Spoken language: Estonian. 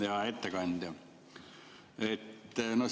Hea ettekandja!